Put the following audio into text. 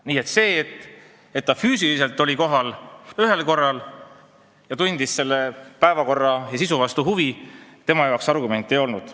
Nii et see, et ta füüsiliselt oli kohal vaid ühel korral ja tundis vaid selle päevakorra ja istungi sisu vastu huvi, tema jaoks argument ei olnud.